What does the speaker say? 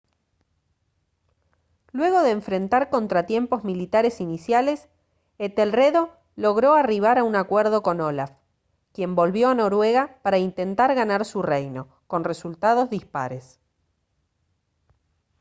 luego de enfrentar contratiempos militares iniciales etelredo logró arribar a un acuerdo con olaf quien volvió a noruega para intentar ganar su reino con resultados dispares